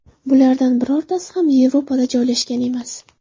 Bulardan birortasi ham Yevropada joylashgan emas.